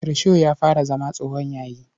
Risho ya fara zama tsohon yayi.